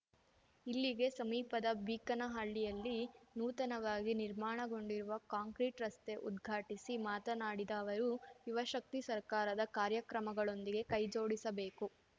ಇಲ್ಲಿಗೆ ಸಮೀಪದ ಬೀಕನಹಳ್ಳಿಯಲ್ಲಿ ನೂತನವಾಗಿ ನಿರ್ಮಾಣಗೊಂಡಿರುವ ಕಾಂಕ್ರೀಟ್‌ ರಸ್ತೆ ಉದ್ಘಾಟಿಸಿ ಮಾತನಾಡಿದ ಅವರು ಯುವ ಶಕ್ತಿ ಸರ್ಕಾರದ ಕಾರ್ಯಕ್ರಮಗಳೊಂದಿಗೆ ಕೈ ಜೋಡಿಸಬೇಕು